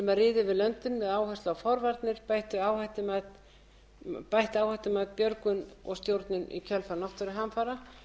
löndin með áherslu á forvarnir bætt áhættumat björgun og stjórnun í kjölfar náttúruhamfara